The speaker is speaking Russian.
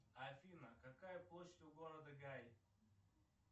афина какая площадь у города гай